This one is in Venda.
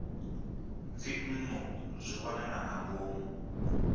dzinnu zwi wanala nga ngomu